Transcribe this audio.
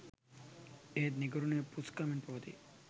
එහෙත් නිකරුණේ පුස්කමින් පවතියි